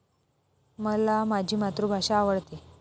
मला माझी मातृभाषा आवडते.